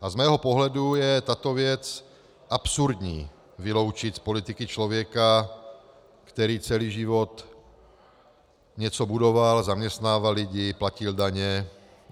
A z mého pohledu je tato věc absurdní: vyloučit z politiky člověka, který celý život něco budoval, zaměstnával lidi, platil daně.